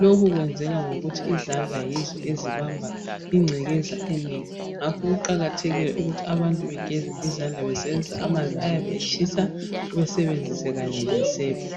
lokhu kwenzeka ngokuthi izandla yizo ezibamba ingcekeza enengi ngakho kuqakathekile ukuthi abantu bageze izandla besebenzisa amanzi ayabe etshisa besebenzise kanye lesepa.